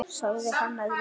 sagði hann að lokum.